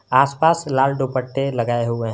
आस पास लाल दुपट्टे लगाए हुए हैं।